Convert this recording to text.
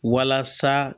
Walasa